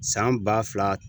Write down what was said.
San ba fila